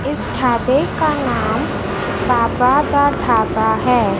इस ढाबे का नाम बाबा दा ढाबा है।